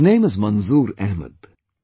His name is Manzoor Ahmed